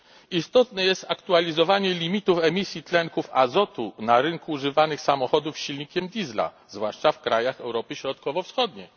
Istotne jest aktualizowanie limitów emisji tlenków azotu na rynku używanych samochodów z silnikiem Diesla, zwłaszcza w krajach Europy Środkowo Wschodniej.